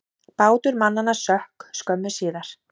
Bátur mannanna sökk skömmu síðar.